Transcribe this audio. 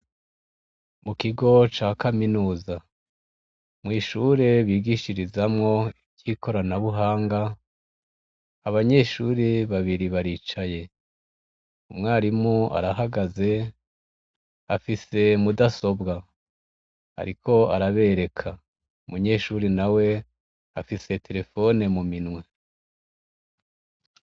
Mu kigo ca kaminuza mwishure bigishirizamwo iry'ikoranabuhanga abanyeshuri babiri baricaye umwarimu arahagaze afise mudasobwa, ariko arabereka umunyeshuri na we we afise telefone mu minwa.